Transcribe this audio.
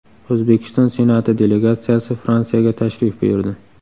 O‘zbekiston Senati delegatsiyasi Fransiyaga tashrif buyurdi.